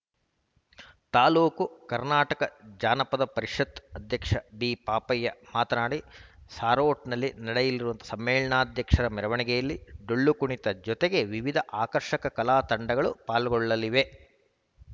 ತಾಲೂಕು ಕರ್ನಾಟಕ ಜಾನಪದ ಪರಿಷತ್ತು ಅಧ್ಯಕ್ಷ ಡಿ ಪಾಪಯ್ಯ ಮಾತನಾಡಿ ಸಾರೋಟ್‌ನಲ್ಲಿ ನಡೆಯಲಿರುವ ಸಮ್ಮೇಳನಾಧ್ಯಕ್ಷರ ಮೆರವಣಿಗೆಯಲ್ಲಿ ಡೊಳ್ಳು ಕುಣಿತ ಜತೆಗೆ ವಿವಿಧ ಆಕರ್ಷಕ ಕಲಾತಂಡಗಳು ಪಾಲ್ಗೊಳ್ಳಲಿವೆ